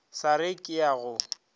sa re ke a go